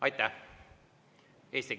Aitäh!